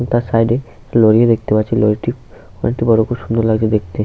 ও তার সাইড -এ একটি লরি ও দেখতে পাচ্ছি। লরিটি অনেকটা বড়। খুব সুন্দর লাগছে দেখতে।